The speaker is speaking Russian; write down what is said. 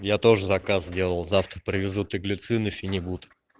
я тоже заказ сделал завтра привезут и глицин и фенибут